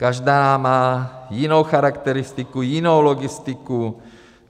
Každá má jinou charakteristiku, jinou logistiku.